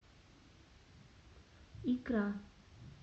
икра